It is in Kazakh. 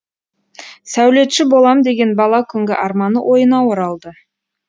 сәулетші болам деген бала күнгі арманы ойына оралды